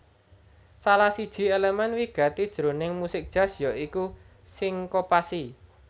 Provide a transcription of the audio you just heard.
Salah siji èlemèn wigati jroning musik jazz ya iku sinkopasi